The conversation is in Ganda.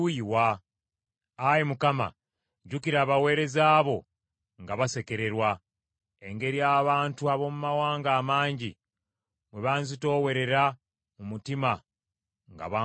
Ayi Mukama, jjukira abaweereza bo nga basekererwa, engeri abantu ab’omu mawanga amangi, bwe banzitoowerera mu mutima nga banvuma;